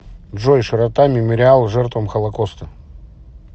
джой широта мемориал жертвам холокоста